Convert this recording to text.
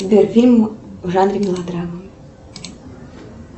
сбер фильм в жанре мелодрама